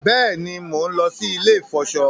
Béèni món ló sì ilè ifọṣọ.